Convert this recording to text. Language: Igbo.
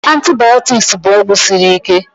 Antibaotiks bụ ọgwụ siri ike